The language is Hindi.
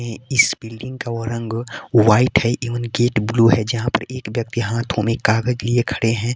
इ इस बिल्डिंग का रंग व्हाइट है एवं गेट ब्लू है जहां पर एक व्यक्ति हाथों में कागज लिए खड़े हैं।